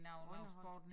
Underholdning